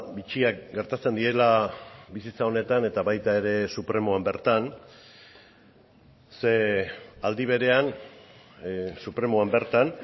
bitxiak gertatzen direla bizitza honetan eta baita ere supremoan bertan ze aldi berean supremoan bertan